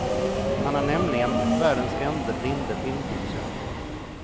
Han är nämligen världens ende blinde filmproducent.